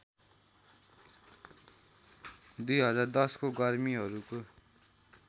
२०१० को गर्मिहरूको